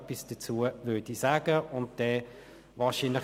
Es wurde in der BaK beraten.